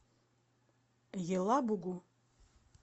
елабугу